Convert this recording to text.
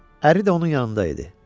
Əri də onun yanında idi.